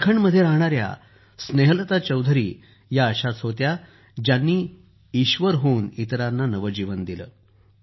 झारखंडमध्ये राहणाऱ्या स्नेहलता चौधरी या अशाच होत्या ज्यानी ईश्वर होऊन इतरांना नवजीवन दिलं